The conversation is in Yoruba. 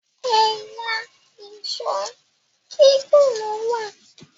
ẹyà Èṣó gígùn ló wá